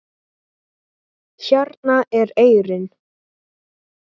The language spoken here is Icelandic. Hérna er eyrin.